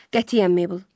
Qətiyyən, Meybl.